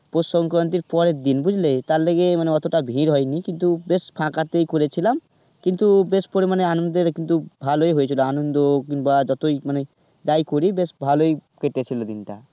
পৌষ সংক্রান্তির পরের দিন বুঝলে, তার লগে মানে ওতটা ভিড় হয়নি কিন্তু বেশ ফাঁকাতেই করেছিলাম কিন্তু বেশ পরিমানে আনন্দের কিন্তু ভালোই হয়েছিল আনন্দ কিংবা যতই যাই করি বেশ ভালোই কেটেছিল দিনটা.